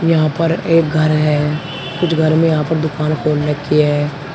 यहां पर एक घर है कुछ घर में यहां पर दुकान खोल रखी है।